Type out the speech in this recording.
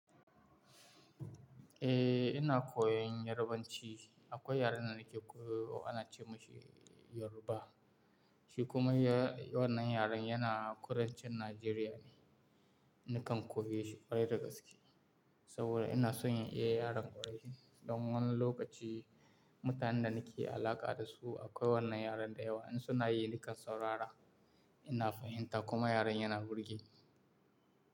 Eh, ina koyan Yarbanci. Akwai yaren da nake koyo ana ce masa Yoruba. Shi kuma ya- wannan yaren yana kudancin Najeriya ne. Nakan koyi shi ƙwarai da gaske saboda ina so in iya yaren ƙwarai don wani lokaci mutanen da nake alaƙa da su akwai wannan yaren da yawa. In suna yi, nakan saurara. Ina fahimta kuma yaren yana burge ni.